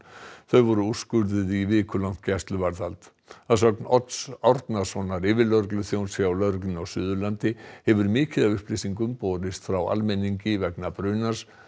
þau voru úrskurðuð í vikulangt gæsluvarðhald að sögn Odds Árnasonar yfirlögregluþjóns hjá lögreglunni á Suðurlandi hefur mikið af upplýsingum borist frá almenningi vegna brunans